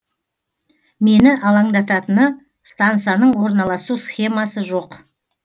мені алаңдататыны стансаның орналасу схемасы жоқ